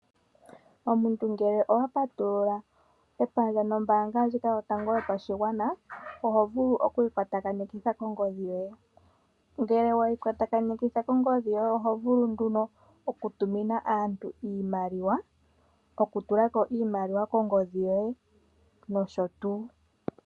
Omuntu ngele owa patulula epandja nombaanga ndjika yotango yopashigwana, oho vulu okuyi kwatakanitha kongodhi yoye. Ngele we yi kwatakanitha kongodhi yoye oho vulu nduno okutumina aantu iimaliwa, okutula ko iimaliwa kongodhi yoye nosho tuu.